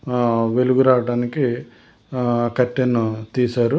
ఆ వెలుగు రావటానికి ఆ కట్టెను తీశారు.